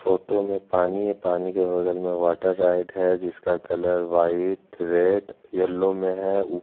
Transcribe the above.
photo में पानी है पानी के बगल में वाटर राइड है जिसका कलर वाइट रेड येल्लो में हैं उ --